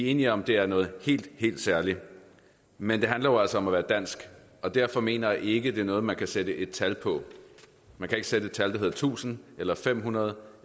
enige om at det er noget helt helt særligt men det handler jo altså om at være dansk og derfor mener jeg ikke det er noget man kan sætte et tal på man kan ikke sætte et tal der hedder tusind eller fem hundrede